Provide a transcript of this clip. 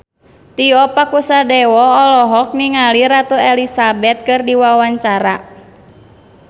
Tio Pakusadewo olohok ningali Ratu Elizabeth keur diwawancara